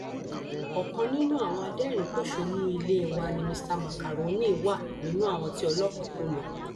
ọkan nínú àwọn aderinín pọṣónú ilé wa nni mr macaroni wà nínú àwọn tí ọlọpàá kò lọ